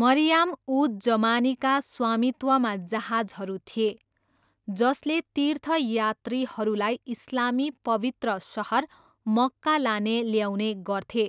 मरियाम उज जमानीका स्वामित्वमा जहाजहरू थिए जसले तीर्थयात्रीहरूलाई इस्लामी पवित्र सहर मक्का लाने ल्याउने गर्थे